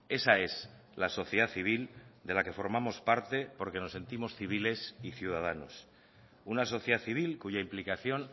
esa es la sociedad civil de la que formamos parte porque nos sentimos civiles y ciudadanos una sociedad civil cuya implicación